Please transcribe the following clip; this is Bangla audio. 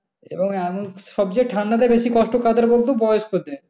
সবচেয়ে ঠান্ডাতে বেশি কষ্ট কাদের বলতো বয়স্কদের।